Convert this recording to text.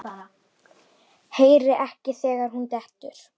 Heyri ekki þegar hún dettur.